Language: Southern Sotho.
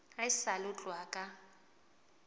haesale ho tloha ka ho